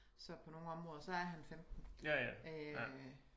Så på nogle områder så er han 15 øh